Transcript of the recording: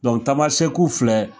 tamasɛku filɛ